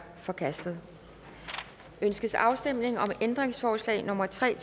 forkastet ønskes afstemning om ændringsforslag nummer tre